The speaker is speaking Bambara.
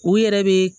U yɛrɛ be